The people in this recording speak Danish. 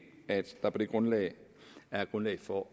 at der på det grundlag er grundlag for